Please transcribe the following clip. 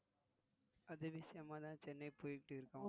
அது விஷயமாதான் சென்னை போயிட்டிருக்கோம்